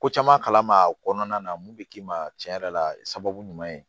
Ko caman kala ma o kɔnɔna na mun bɛ k'i ma cɛn yɛrɛ la sababu ɲuman ye